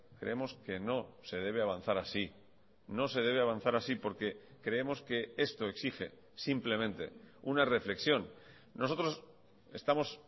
creemos que no se debe avanzar así no se debe avanzar así porque creemos que esto exige simplemente una reflexión nosotros estamos